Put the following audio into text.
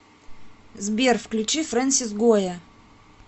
сбер включи фрэнсис гойя